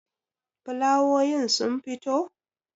fulawowin sun fito?